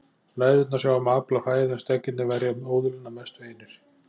Læðurnar sjá um að afla fæðu en steggirnir verja óðulin að mestu einir.